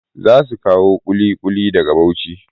Za su kawo ƙuliƙuli daga Bauchi.